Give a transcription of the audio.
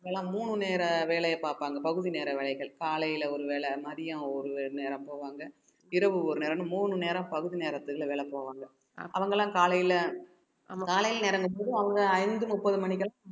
எல்லாம் மூணு நேர வேலையை பார்ப்பாங்க பகுதி நேர வேலைகள் காலையில ஒருவேளை மதியம் ஒரு நேரம் போவாங்க இரவு ஒரு நேரம்னு மூணு நேரம் பகுதி நேரத்துக்குள்ள வேல போவாங்க அவங்க எல்லாம் காலையில காலையில நேரங்கற போது அவங்க ஐந்து முப்பது மணிக்கெல்லாம்